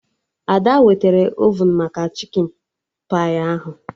Ada wetara ovun maka chikin pai ahụ